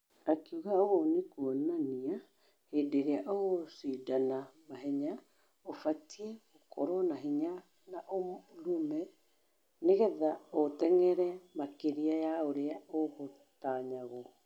Akĩuga Ũ ni kuonania henderĩa ũgũcĩdana mahenya , ũbatairie gũkũrwo na hinya na ũrũme nĩ gĩtha ũteng'ere makĩria ya ũria ũgũtanyitwo.